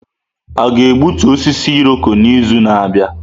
A ga-egbutu osisi Irọko n'izu na-abịa?